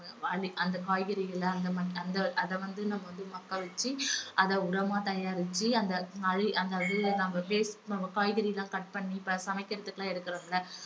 அந்த காய்கறிகள அந்த ம~ அந்த அத வந்து நம்ம வந்து மக்க வச்சு அத உரமா தயாரிச்சு அந்த~ நம்ம waste காய்கறி எல்லாம் cut பண்ணி இப்ப சமைக்கிறதுக்குலாம் எடுக்கிறோம் இல்ல